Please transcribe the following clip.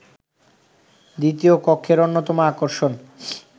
দ্বিতীয় কক্ষের অন্যতম আকর্ষণ